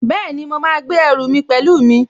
Bẹ́ẹ̀ni, mo máa gbé ẹrù mi pẹ̀lú mi